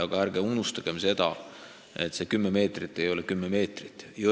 Aga ärge unustage, et see ei tähenda kümmet meetrit kõikjal.